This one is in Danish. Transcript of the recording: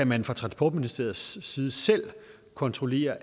man fra transportministeriets side selv kan kontrollere